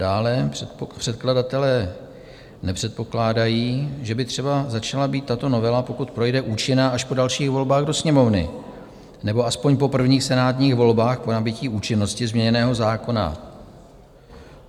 Dále předkladatelé nepředpokládají, že by třeba začala být tato novela, pokud projde, účinná až po dalších volbách do Sněmovny, nebo aspoň po prvních senátních volbách po nabytí účinnosti změněného zákona.